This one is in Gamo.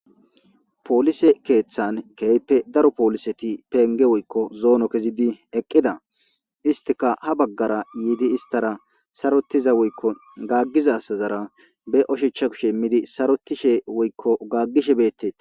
polise keeththan keype daro pooliseti penge woykko zoono kezidi eqqida istika ha baggara yiidi istara sarotiza woykko gaggiza sazara be oshecha kushemmidi sarotishe woykko gaggishe beetteeta